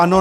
Ano.